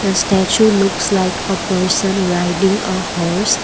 the statue looks like a person riding a horse.